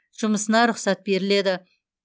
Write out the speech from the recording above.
жұмысына рұқсат беріледі